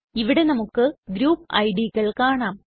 ഇവിടെ നമുക്ക് ഗ്രൂപ്പ് idകൾ കാണാം